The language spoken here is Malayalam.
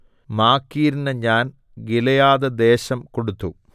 മാഖീരിന് ഞാൻ ഗിലെയാദ്‌ദേശം കൊടുത്തു